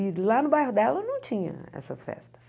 E do lá no bairro dela não tinha essas festas.